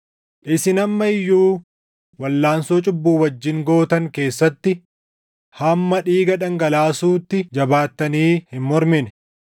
Isin amma iyyuu walʼaansoo cubbuu wajjin gootan keessatti hamma dhiiga dhangalaasuutti jabaattanii hin mormine.